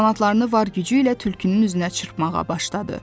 Qanadlarını var gücü ilə tülkünün üzünə çırpmağa başladı.